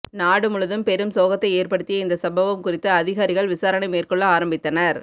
நாடு முழுவதும் பெரும் சோகத்தை ஏற்படுத்திய இந்த சம்பவம் குறித்து அதிகாரிகள் விசாரணை மேற்கொள்ள ஆரம்பித்தனர்